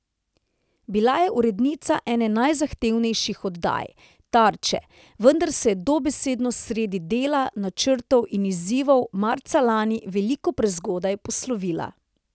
Bila je urednica ene najzahtevnejših oddaj, Tarče, vendar se je dobesedno sredi dela, načrtov in izzivov marca lani veliko prezgodaj poslovila.